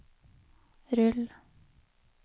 rull